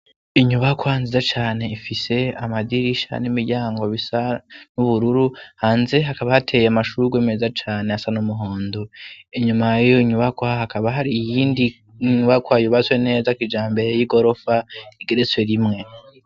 Inyubakwa nziza cane ifise amadirisha n'imiryango bisa n'ubururu, hanze hakaba hateye amashurwe meza cane asa n umuhondo. Inyuma yiyo nyubakwa hakaba hari iyindi nyubakwa yubatswe neza kijambere y'igorofa igeretswe rimwe.